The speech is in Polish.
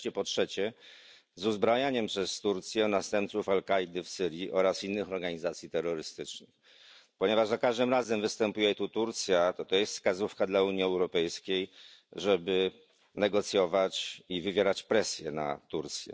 Wreszcie po trzecie z uzbrajaniem przez Turcję następców Al Kaidy w Syrii oraz innych organizacji terrorystycznych. Ponieważ za każdym razem występuje tu Turcja, to jest wskazówka dla Unii Europejskiej, żeby negocjować i wywierać presję na Turcję.